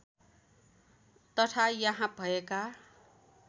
तथा यहाँ भएका